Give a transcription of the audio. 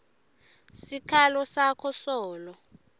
sikhalo sakho solo